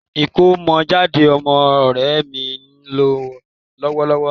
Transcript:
Ìkómọjáde ọmọ ọ̀rẹ́ mi ń lọ lọ́wọ́lọ́wọ́